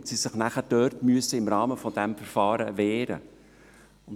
Diese müssen sich dann im Rahmen dieses Verfahrens wehren.